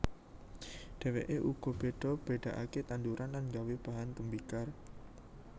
Dheweke uga beda bedakake tanduran lan gawé bahan tembikar